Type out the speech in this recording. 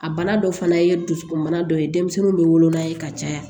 A bana dɔ fana ye dusukunmana dɔ ye denmisɛnninw bɛ wolo n'a ye ka caya